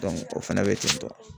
o fɛnɛ bɛ ten tɔ